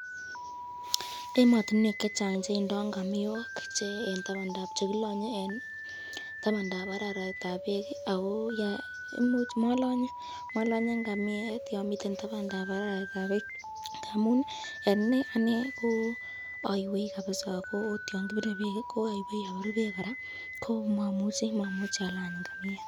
Ematinwek chechang cheindo ngamiok chekilanye eng tabandab bek, ako malanye ngamiet yan miten babandab araraitab bek ngamun eng inei ane aywei kabisa, ako mamuchi alany ngamiet.